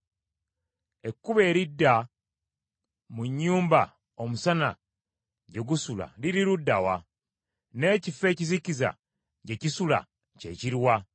“Ekkubo eridda mu nnyumba omusana gye gusula liri ludda wa? N’ekifo ekizikiza gye kisula kye kiruwa?